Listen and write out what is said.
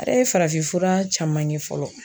A yɛrɛ ye farafinfura caman ye fɔlɔ